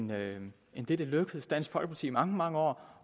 det end det det lykkedes dansk folkeparti igennem mange mange år